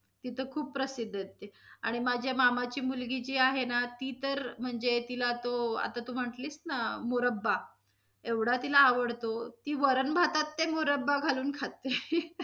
तिथं खूप प्रसिद्ध आहे ते, आणि माझ्या मामाची मुलगी जी आहे ना, ती तर म्हणजे तिला तो आता तू म्हटलीस ना मुरब्बा, एवढा तिला आवडतो. ती वरण भातात ते मुरब्बा घालून खाते.